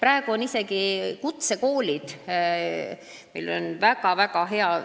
Meil on praegu ka väga-väga häid kutsekoole.